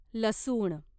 लसूण